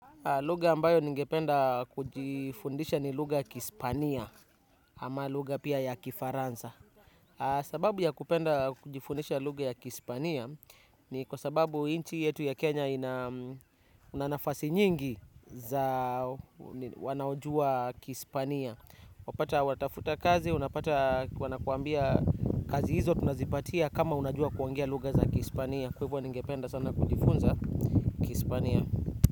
Lugha ambayo ningependa kujifundisha ni lugha kispania ama lugha pia ya kifaransa. Sababu ya kupenda kujifundisha lugha ya kispania ni kwa sababu inchi yetu ya Kenya unanafasi nyingi za wanaojua kispania. Wapata watafuta kazi, unapata wanakuambia kazi hizo tunazipatia kama unajua kuongea lugha za kispania. Kwa hivyo ningependa sana kujifunza kispania.